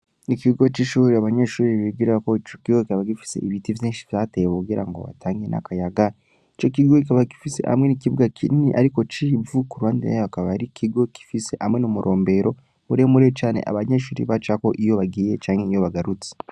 Ikigo c'ishure abanyeshure bigirako, ico kigo kikaba gifise ibiti vyinshi vyatewe kugira ngo hatange n’akayaga; ico kigo kikaba gifise hamwe n’ikibuga kinini ariko c’ivu, ku ruhande hakaba ari ikigo gifise hamwe n’umurombero, muremure cane abanyeshure bacako iyo bagiye canke bagarutse.